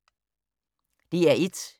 DR1